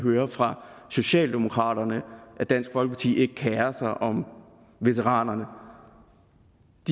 høre fra socialdemokraterne at dansk folkeparti ikke kerer sig om veteranerne